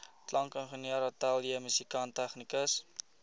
klankingenieur ateljeemusikant tegnikus